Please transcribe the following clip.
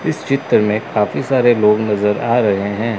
इस चित्र में काफी सारे लोग नजर आ रहे हैं।